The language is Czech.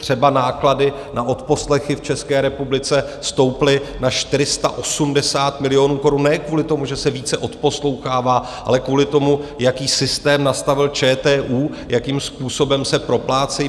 Třeba náklady na odposlechy v České republice stouply na 480 milionů korun ne kvůli tomu, že se více odposlouchává, ale kvůli tomu, jaký systém nastavil ČTÚ, jakým způsobem se proplácejí.